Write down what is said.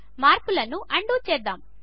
మార్పులను అన్డూ చేద్దాము